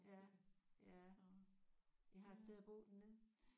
Ja ja I har et sted at bo dernede?